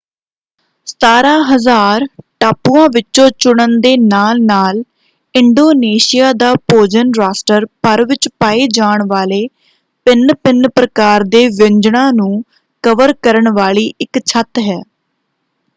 17,000 ਟਾਪੂਆਂ ਵਿੱਚੋਂ ਚੁਣਨ ਦੇ ਨਾਲ-ਨਾਲ ਇੰਡੋਨੇਸ਼ੀਆ ਦਾ ਭੋਜਨ ਰਾਸ਼ਟਰ ਭਰ ਵਿੱਚ ਪਾਏ ਜਾਣ ਵਾਲੇ ਭਿੰਨ-ਭਿੰਨ ਪ੍ਰਕਾਰ ਦੇ ਵਿਅੰਜਣਾਂ ਨੂੰ ਕਵਰ ਕਰਨ ਵਾਲੀ ਇੱਕ ਛੱਤ ਹੈ।